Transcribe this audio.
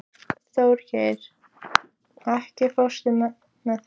Þjóðgeir, ekki fórstu með þeim?